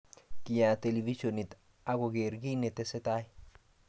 Kiyaat televishonit ak koger kiit ne tesetai.